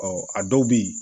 a dɔw bɛ yen